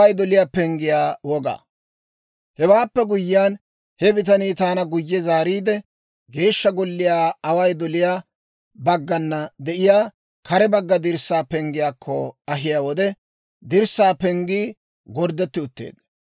Hewaappe guyyiyaan, he bitanii taana guyye zaariide, Geeshsha golliyaw away doliyaa baggana de'iyaa kare bagga dirssaa penggiyaakko ahiyaa wode, dirssaa penggii gorddetti utteedda.